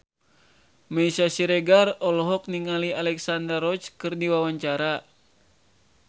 Meisya Siregar olohok ningali Alexandra Roach keur diwawancara